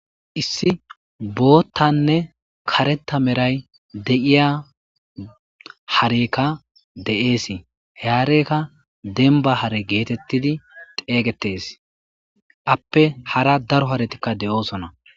Issi bottane karretta melay deiiya haareyka de'essi he haareykka dembba haare getteti xeyggetes aape harra daaro haaretika de'ossona.